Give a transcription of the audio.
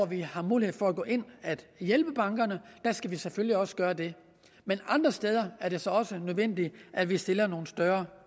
vi har mulighed for at gå ind at hjælpe bankerne skal vi selvfølgelig også gøre det men andre steder er det så også nødvendigt at vi stiller nogle større